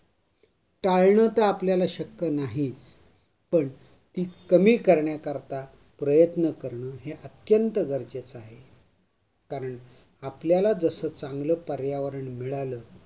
टाळणं तर आपल्याला शक्य नाही. पण ती कमी करण्याकरता प्रयत्न करणं अत्यंत गरजेचं आहे. कारण आपल्याला जसं चांगलं पर्यावरण मिळालं